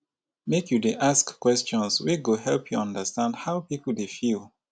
make you dey ask questions wey go help you understand how pipo dey feel.